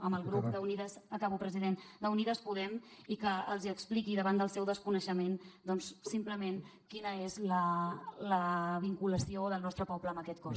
amb el grup acabo president d’unides podem i que els expliqui davant del seu desconeixement doncs simplement quina és la vinculació del nostre poble amb aquest cos